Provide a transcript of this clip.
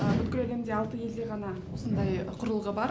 бүкіл әлемде алты елде ғана осындай құрылғы бар